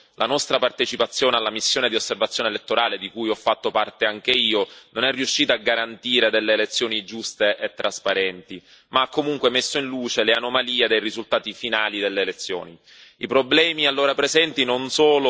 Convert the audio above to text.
Ce ne siamo già occupati l'anno passato, quando la nostra partecipazione alla missione di osservazione elettorale, di cui ho fatto parte anche io, non è riuscita a garantire elezioni giuste e trasparenti ma ha comunque messo in luce le anomalie dei risultati finali delle elezioni.